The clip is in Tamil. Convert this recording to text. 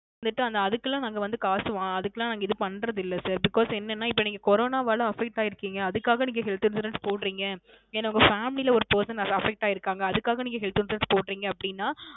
வந்துட்டு அதுக்கு எல்லாம் நாங்க வந்து காசு வாங்கு அதுக்கெல்லாம் நாங்க இது பண்றதில்ல Sir Because ஏன்ன இப்போ நீங்க Corona ல affect ஆகிருக்கிங்க அதற்காக நீங்க Health Insurance போடுறிங்க ஏன்ன உங்க Family ல ஒரு person affect ஆகியிருக்காங்க அதுக்காக நீங்க Health Insurance போடுறிங்க அப்படின